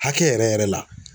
Hakɛ yɛrɛ yɛrɛ la